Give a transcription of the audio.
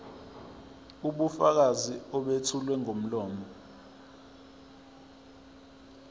ubufakazi obethulwa ngomlomo